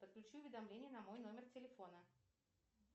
подключи уведомления на мой номер телефона